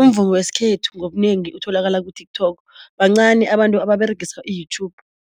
umvumo wesikhethu ngobunengi utholakala ku-TikTok bancani abantu ababeregisa i-YouTube.